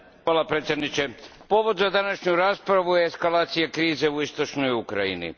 Gospodine predsjedniče, povod za današnju raspravu je eskalacija krize u istočnoj Ukrajini.